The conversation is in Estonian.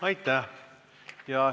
Aitäh!